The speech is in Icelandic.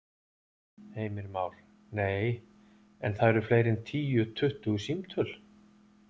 Heimir Már: Nei, en það eru fleiri en tíu, tuttugu símtöl?